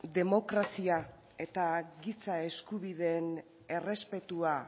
demokrazia eta giza eskubideen errespetua